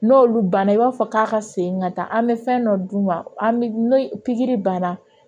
N'olu banna i b'a fɔ k'a ka segin ka taa an bɛ fɛn dɔ d'u ma n'o pikiri banna